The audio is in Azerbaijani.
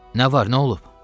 Nə var, nə olub?